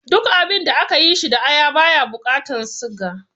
Duk abinda aka yi shi da aya baya bukatan siga